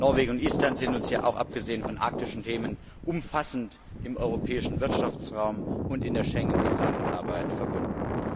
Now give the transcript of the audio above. Norwegen und Island sind uns ja auch abgesehen von arktischen Themen umfassend im Europäischen Wirtschaftsraum und in der Schengen Zusammenarbeit verbunden.